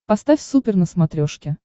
поставь супер на смотрешке